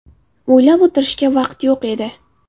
O‘ylab o‘tirishga vaqt yo‘q edi.